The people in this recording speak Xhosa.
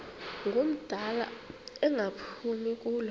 ngumdala engaphumi kulo